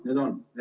Nüüd on!